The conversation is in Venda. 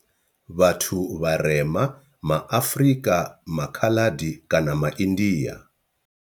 Vhathu vharema ma Afrika, MA Khaladi kana MA India.